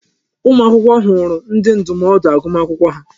Ụmụ akwụkwọ hụrụ ndi ndụmọdụ agụmakwụkwọ ha.